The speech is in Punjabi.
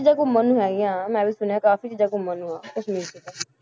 ਚੀਜ਼ਾਂ ਘੁੰਮਣ ਨੂੰ ਹੈਗੀਆਂ ਮੈਂ ਵੀ ਸੁਣਿਆ ਕਾਫ਼ੀ ਚੀਜ਼ਾਂ ਘੁੰਮਣ ਨੂੰ ਆਂ ਕਸ਼ਮੀਰ 'ਚ ਤਾਂ